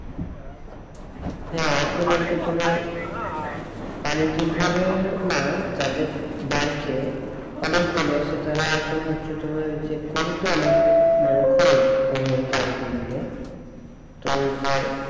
হ্যাঁ এখন এইযে তোমার বাণিজ্যিক ভাবে না যাদের বাড়িতে সেটা এখন হচ্ছে তোমার মানে পালতে গেলে ওই যে,